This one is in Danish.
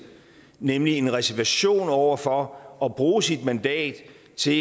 nemlig en reservation over for at bruge sit mandat til